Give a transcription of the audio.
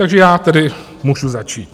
Takže já tedy můžu začít.